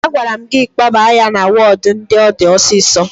A gwara gi kpoba ya na wodu ndi odi osiso